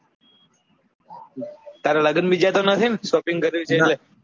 તાર લગન બીજા તો નથી ને shopping કરવી છે